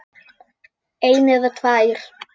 eina eða tvær.